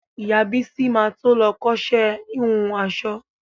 Ìyá Bísí ma to lọ kọ́ṣẹ́ híhun aṣọ.